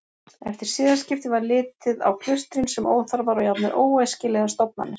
Eftir siðaskipti var litið á klaustrin sem óþarfar og jafnvel óæskilegar stofnanir.